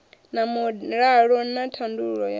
na mulalo na thandululo ya